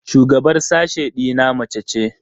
Shugabar sashe ɗina mace ce.